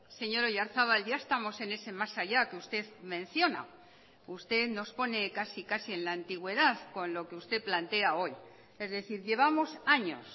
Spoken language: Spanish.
señor oyarzábal ya estamos en ese más allá que usted menciona usted nos pone casi casi en la antigüedad con lo que usted plantea hoy es decir llevamos años